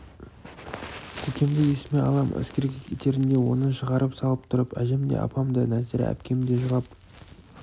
көкемді есіме алам әскерге кетерінде оны шығарып салып тұрып әжем де апам да нәзира әпкем де жылап